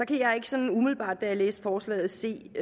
kan jeg ikke sådan umiddelbart da jeg læste forslaget se